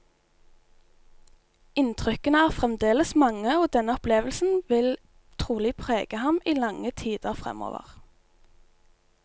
Inntrykkene er fremdeles mange og denne opplevelsen vil trolig prege ham i lange tider fremover.